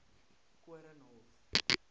koornhof